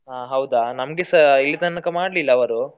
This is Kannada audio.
ಹಾ ಹೌದಾ, ನಮ್ಗೆಸಾ ಇಲ್ಲಿ ತನಕ ಮಾಡ್ಲಿಲ್ಲ ಅವರು.